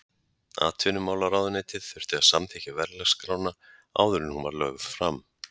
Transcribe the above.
Atvinnumálaráðuneytið þurfti að samþykkja verðlagsskrána áður en hún var lögð fram.